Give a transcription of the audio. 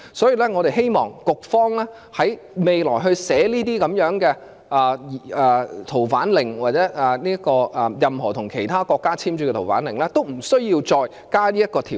因此，我們希望局方在未來撰寫《逃犯令》或任何與其他國家簽署的移交逃犯命令時不要再加入此條款。